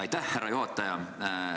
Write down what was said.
Aitäh, härra juhataja!